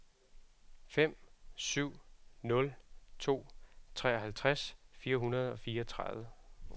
fem syv nul to treoghalvtreds fire hundrede og fireogtredive